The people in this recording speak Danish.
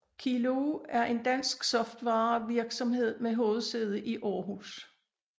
Kiloo er en dansk software virksomhed med hovedsæde i Aarhus